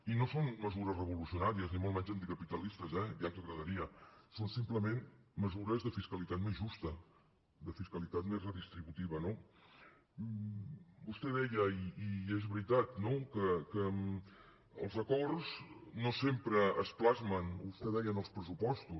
i no són mesures revolucionàries ni molt menys anticapitalistes eh ja ens agradaria són simplement mesures de fiscalitat més justa de fiscalitat més redistributiva no vostè deia i és veritat no que els acords no sempre es plasmen vostè deia ens els pressupostos